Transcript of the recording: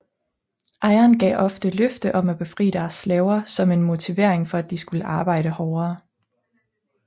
Ejerne gav ofte løfte om at befri deres slaver som en motivering for at de skulle arbejde hårdere